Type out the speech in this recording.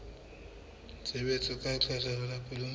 tshebetso tsa lekgetho la kuno